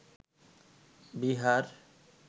Bihar